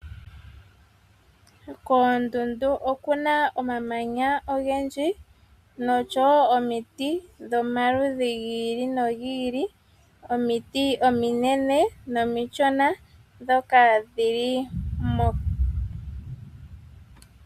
Koondundu okuna omamanya ogendji noshowo omiti dhomaludhi gi ili nogi ili. Omiti ominene nomishona dhoka dhili mo.